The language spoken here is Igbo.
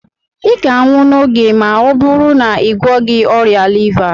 ị ga-anwụ n'oge ma ọ bụrụ na ị gwọghị ọrịa liva a